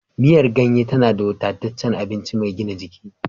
Miyar ganye tana da wadataccen abinci mai gina jiki.